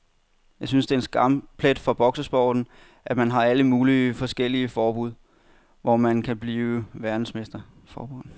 Jeg synes det er en skamplet for boksesporten, at man har alle mulige forskellige forbund, hvor man kan blive verdensmester.